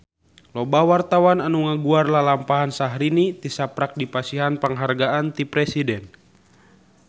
Loba wartawan anu ngaguar lalampahan Syahrini tisaprak dipasihan panghargaan ti Presiden